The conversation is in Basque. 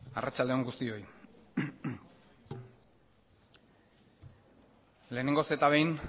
arratsalde on guztioi lehenengoz eta behin